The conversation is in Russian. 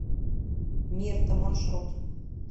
мирта маршрут